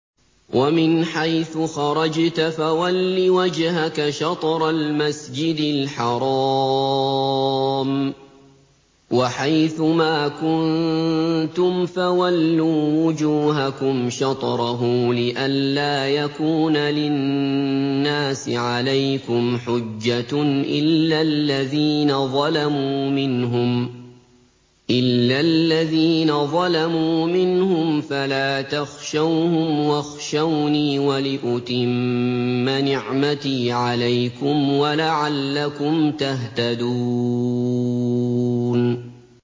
وَمِنْ حَيْثُ خَرَجْتَ فَوَلِّ وَجْهَكَ شَطْرَ الْمَسْجِدِ الْحَرَامِ ۚ وَحَيْثُ مَا كُنتُمْ فَوَلُّوا وُجُوهَكُمْ شَطْرَهُ لِئَلَّا يَكُونَ لِلنَّاسِ عَلَيْكُمْ حُجَّةٌ إِلَّا الَّذِينَ ظَلَمُوا مِنْهُمْ فَلَا تَخْشَوْهُمْ وَاخْشَوْنِي وَلِأُتِمَّ نِعْمَتِي عَلَيْكُمْ وَلَعَلَّكُمْ تَهْتَدُونَ